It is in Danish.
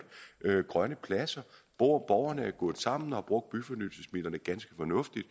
grønne pladser borgerne er gået sammen og har brugt byfornyelsesmidlerne ganske fornuftigt